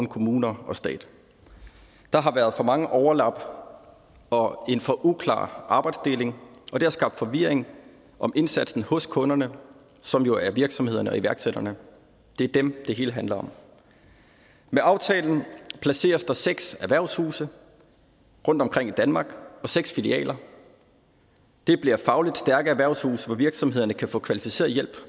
kommuner og stat der har været for mange overlap og en for uklar arbejdsdeling og det har skabt forvirring om indsatsen hos kunderne som jo er virksomhederne og iværksætterne det er dem det hele handler om med aftalen placeres der seks erhvervshuse rundtomkring i danmark og seks filialer det bliver fagligt stærke erhvervshuse hvor virksomhederne kan få kvalificeret hjælp